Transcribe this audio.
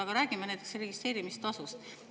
Aga räägime näiteks registreerimistasust.